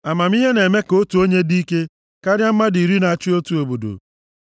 Amamihe na-eme ka otu onye dị ike karịa mmadụ iri na-achị otu obodo.